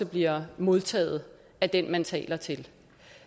bliver modtaget af den man taler til